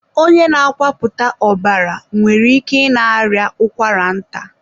onye na-akwapụta ọbara nwere ike ị na-arịa ụkwara nta.